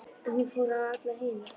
En hún fór á alla hina.